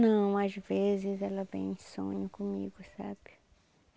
Não, às vezes ela vem e sonha comigo, sabe?